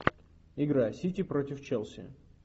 игра сити против челси